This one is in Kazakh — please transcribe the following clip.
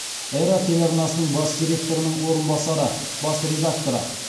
эра телеарнасының бас директорының орынбасары бас редакторы